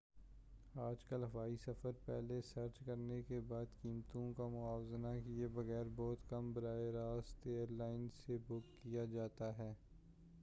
آج کل ہوائی سفر پہلے سرچ کرنے کے بعد قیمتوں کا موازنہ کیے بغیر بہت کم براہ راست ایر لائن سے بک کیا جاتا ہے